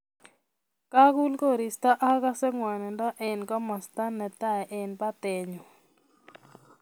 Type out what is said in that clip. Kagul koristo agase ngwanindo eng komosta netai eng batenyu